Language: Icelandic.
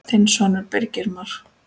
Þinn sonur, Birgir Már.